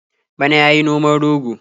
Bana ya yi noman rogo.